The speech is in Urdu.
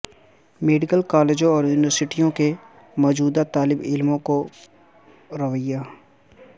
میڈیکل کالجوں اور یونیورسٹیوں کے موجودہ طالب علموں کو رویہ